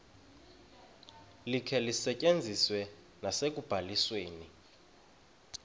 likhe lisetyenziswe nasekubalisweni